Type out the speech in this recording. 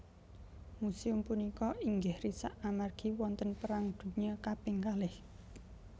Musèum punika inggih risak amargi wonten perang dunya kaping kalih